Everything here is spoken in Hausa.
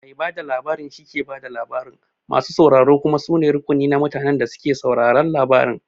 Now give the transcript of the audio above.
Mai labari shike ba da labarin, masu sauraro kuma su ne rukuni na mutanen da suke sauraron labarin.